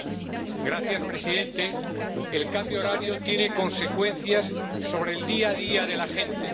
Señor presidente, el cambio horario tiene consecuencias sobre el día a día de la gente.